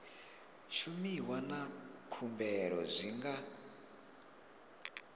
shumiwa na khumbelo zwi nga